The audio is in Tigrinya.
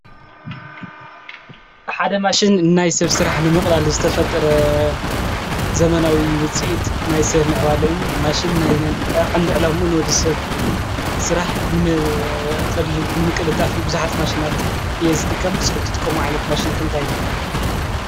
ሓደ ማሽን እናይ ሰብ ሥራሕ ንምቕላል ዝተፈጥረ ዘመናዊ ውፂእድ ናይ ሰብ ምዕባለ ዩ ።ማሽን ናይ ቐንድ ዕላሙኡ ንወዲ ሰብ ሥራሕ ንምቅላል ጣፊ ብዙኃት ማሽናት እየ ዝጥቀም። ኹምቲ ጥቅሚ ዋዓይነት ማሽን ከንታይሎ?